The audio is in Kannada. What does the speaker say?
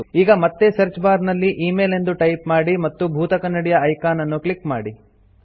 ಈಗ ಮತ್ತೆ ಸರ್ಚ್ ಬಾರ್ ನಲ್ಲಿemail ಎಂದು ಟೈಪ್ ಮಾಡಿ ಮತ್ತು ಭೂತಕನ್ನಡಿಯ ಐಕಾನ್ ಅನ್ನು ಕ್ಲಿಕ್ ಮಾಡಿ